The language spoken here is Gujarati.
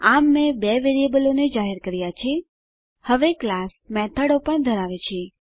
આમ મેં બે વેરીએબલોને જાહેર કર્યા છે હવે ક્લાસ મેથડો પણ ધરાવે છે